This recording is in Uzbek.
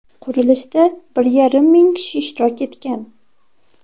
Qurilishda bir yarim ming kishi ishtirok etgan.